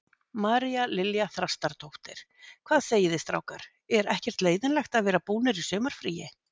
María Lilja Þrastardóttir: Hvað segiði strákar, er ekkert leiðinlegt að vera búnir í sumarfríi?